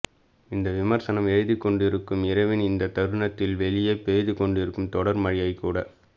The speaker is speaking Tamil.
இந்த விமர்சனம் எழுதிக் கொண்டிருக்கும் இரவின் இந்தத் தருணத்தில் வெளியே பெய்து கொண்டிருக்கும் தொடர் மழையைக் கூட